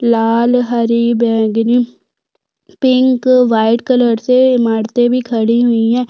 लाल हरी बैंगनी pink white colour से इमारते भी खड़ी हुई है।